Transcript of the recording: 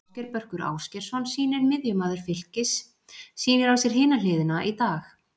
Ásgeir Börkur Ásgeirsson sýnir miðjumaður Fylkis sýnir á sér hina hliðina í dag.